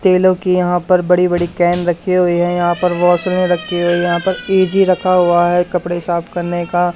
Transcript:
तेलों के यहां पर बड़े-बड़े कैन रखे हुए है यहां पर वैसलीन रखी हुई है यहां पर ईजी रखा हुआ हैं कपड़े साफ करने का।